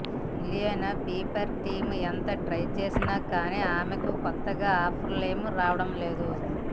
Ileana PR team ఎంత try చేసినా కానీ ఆమెకి కొత్తగా ఆఫర్లేం రావడం లేదు